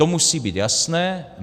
To musí být jasné.